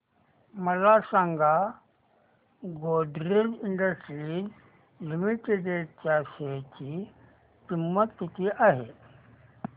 मला सांगा Godrej industries limited च्या शेअर ची किंमत किती आहे